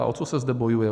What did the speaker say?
A o co se zde bojuje?